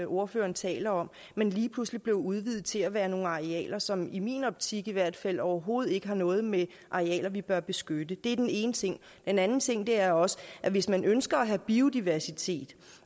ordføreren taler om men lige pludselig blev udvidet til at være nogle arealer som i min optik i hvert fald overhovedet ikke har noget med arealer vi bør beskytte det er den ene ting en anden ting er også at hvis man ønsker at have biodiversitet